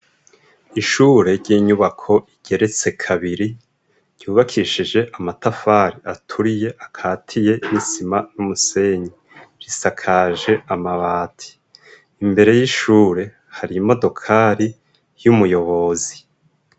Ishure ry'inyubako igeretse kabiri ryubakishije amatafari aturiye akatiye b'isima n'umusenyi risakaje amabati. Imbere y'ishure har'imodokari y'umuyobozi.